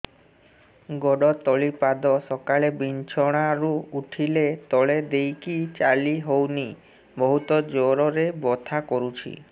ଗୋଡ ତଳି ପାଦ ସକାଳେ ବିଛଣା ରୁ ଉଠିଲେ ତଳେ ଦେଇକି ଚାଲିହଉନି ବହୁତ ଜୋର ରେ ବଥା କରୁଛି